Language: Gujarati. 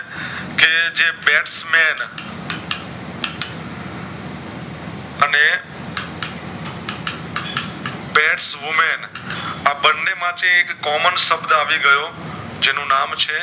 women આ બને માંથી એક Common શબ્દ આવી ગયો જેનું નામ છે